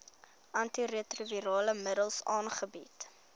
antiretrovirale middels aangebied